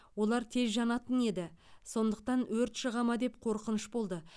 олар тез жанатын еді сондықтан өрт шыға ма деп қорқыныш болды